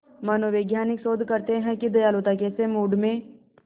मनोवैज्ञानिक शोध करते हैं कि दयालुता कैसे मूड में